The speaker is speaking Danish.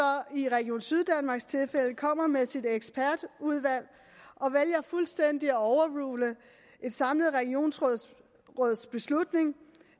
i region syddanmarks tilfælde kommer med sit ekspertudvalg og vælger fuldstændig at overrule et samlet regionsråds beslutning